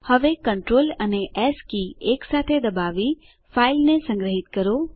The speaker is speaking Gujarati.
હવે કન્ટ્રોલ અને એસ કી એકસાથે દબાવી ફાઈલને સંગ્રહીત કરો